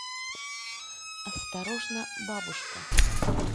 осторожно бабушка